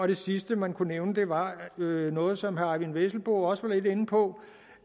det sidste man kunne nævne var noget som herre eyvind vesselbo også var lidt inde på